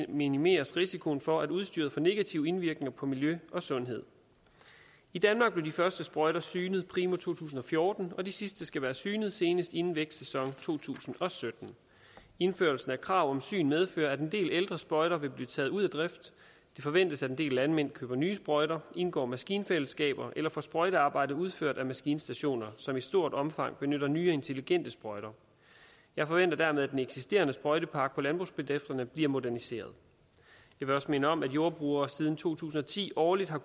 minimeres risikoen for at udstyret får negativ indvirkning på miljø og sundhed i danmark blev de første sprøjter synet primo to tusind og fjorten og de sidste skal være synet senest inden vækstsæson to tusind og sytten indførelsen af krav om syn medfører at en del ældre sprøjter vil blive taget ud af drift det forventes at en del landmænd køber nye sprøjter indgår maskinfællesskaber eller får sprøjtearbejdet udført af maskinstationer som i stort omfang benytter nye og intelligente sprøjter jeg forventer dermed at den eksisterende sprøjtepark på landbrugsbedrifterne bliver moderniseret jeg vil også minde om at jordbrugere siden to tusind og ti årligt har